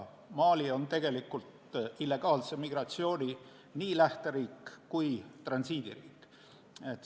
Mali on illegaalse migratsiooni nii lähteriik kui ka transiidiriik.